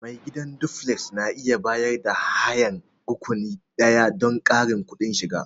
Mai gidan duflek na iya bayar da hayan rakuni ɗaya don ƙarin kudin shiga.